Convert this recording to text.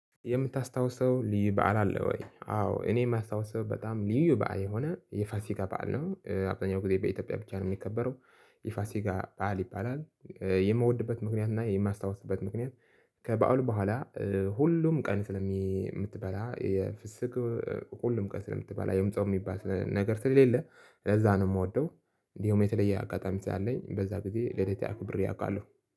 የምታስታውሰው ልዩ በዓል አለ ወይ? አዎ እኔ የማስታውሰው በጣም ልዩ በዓል የሆነ የፋሲካ በዓል ነው አብዛኛው ጊዜ በኢትዮጵያ ብቻ ነው የሚከበረው። ይፋሲካ ባል ይባላል። የምወድበት ምክንያትና የማስታውስበት ምክንያት ከበሃሉ በኋል ሁሉም ቀን ስለሚትበላ የፍስክ። ሁሉም ቀን ስለምትበላ ወይም ጾም ሚባል ነገር ስለሌለ ለዛ ነው ምወደው። እንዲሁም የተለየ አጋጣሚ ስላለኝ በዛ ግዜ ልደት አክብሬ አቃለው